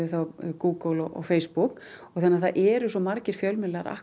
Google og Facebook þannig það eru svo margir fjölmiðlar